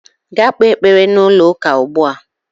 Gaa kpee ekpere n'ụlọụka ugbu a!